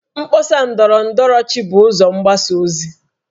Mkpọsa ndọrọ ndọrọchi bụ ụzọ mgbasa ozi